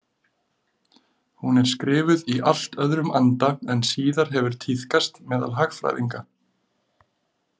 Hún er skrifuð í allt öðrum anda en síðar hefur tíðkast meðal hagfræðinga.